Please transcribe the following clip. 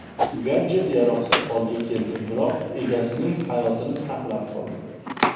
Gadjet yaroqsiz holga keldi, biroq egasining hayotini saqlab qoldi.